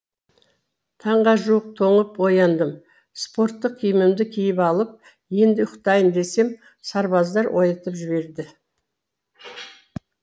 таңға жуық тоңып ояндым спорттық киімімді киіп алып енді ұйықтайын десем сарбаздар оятып жіберді